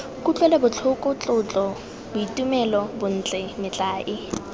kutlwelobotlhoko tlotlo boitumelo bontle metlae